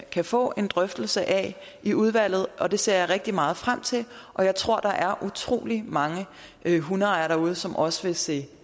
kan få en drøftelse af i udvalget og det ser jeg rigtig meget frem til og jeg tror at der er utrolig mange hundeejere derude som også vil se